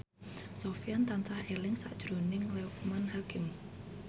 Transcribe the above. Sofyan tansah eling sakjroning Loekman Hakim